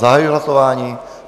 Zahajuji hlasování.